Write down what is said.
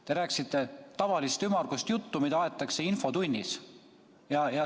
Te rääkisite tavalist ümmargust juttu, mida aetakse infotunnis.